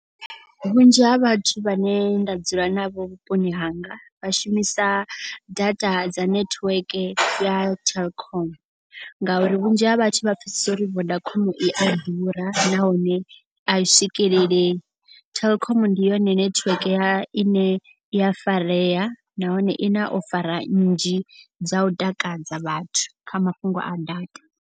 Vhunzhi ha vhathu vhane nda dzula navho vhuponi hanga. Vha shumisa data dza network ya Telkom. Ngauri vhunzhi ha vhathu vha pfesese uri Vodacom i a ḓurs nahone a i swikelelei. Telkom ndi yone nethiweke ya i ne ya farea nahone i na ofara nnzhi dza u takadza vhathu kha mafhungo a data.